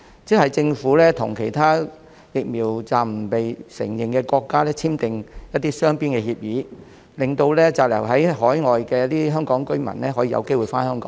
即是政府與其他疫苗紀錄暫不被承認的國家簽訂雙邊協議，令滯留在海外的香港居民有機會回香港。